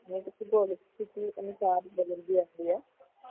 ਉਸ ਦੇ ਅਨੁਸਾਰ ਬਦਲਦੀ ਰਹਿੰਦੀ ਹੈ